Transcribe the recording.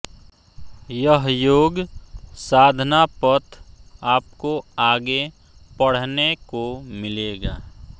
यह योग साधना पथ आपको आगे पढ़ने को मिलेगा